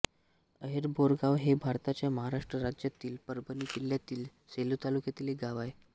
अहेरबोरगाव हे भारताच्या महाराष्ट्र राज्यातील परभणी जिल्ह्यातील सेलू तालुक्यातील एक गाव आहे